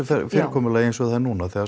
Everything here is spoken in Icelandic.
fyrirkomulagi eins og það er núna þegar